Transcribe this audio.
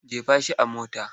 Jefa shi a mota!